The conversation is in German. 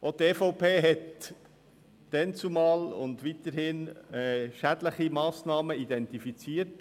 Auch die EVP hat damals und auch seither schädliche Massnahmen beim EP identifiziert.